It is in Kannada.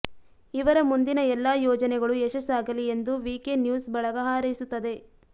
ಇವರ ಮುಂದಿನ ಎಲ್ಲ ಯೋಜನೆಗಳು ಯಶಸ್ಸಾಗಲಿ ಎಂದು ವಿಕೆ ನ್ಯೂಸ್ ಬಳಗ ಹಾರೈಸುತ್ತದೆ